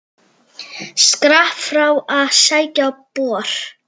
Skrapp frá að sækja bor.